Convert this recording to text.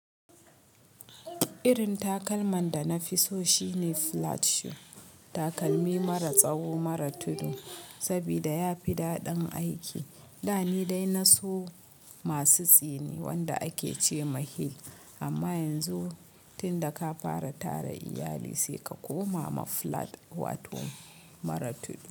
Irin takalman da na fi so shine flat shoe, takalmi mara tsawo mara tudu, saboda yafi daɗin aiki. Da ni dai na so masu tsini wanda ake ce ma heel amma yanzu tunda ka fara tara iyali sai ka koma ma flat waton mara tudu.